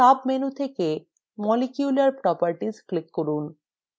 সাবmenu থেকে molecule properties click from